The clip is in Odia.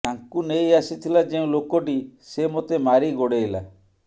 ତାଙ୍କୁ ନେଇ ଆସିଥିଲା ଯେଉଁ ଲୋକଟି ସେ ମୋତେ ମାରି ଗୋଡେ଼ଇଲା